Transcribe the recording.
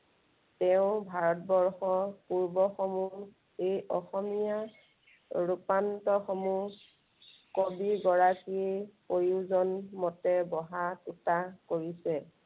তেওঁ ভাৰতবৰ্ষৰ পূৰ্ব সমূহ এই অসমীয়া ৰূপান্তৰ সমূহ কবি গৰাকীৰ প্ৰয়োজন মতে বহা টুটা কৰিছে।